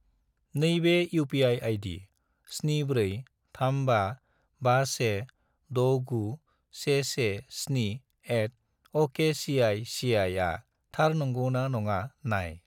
नैबे UPI. ID 74355169117@okcici आ थार नंगौ ना नङा नाय।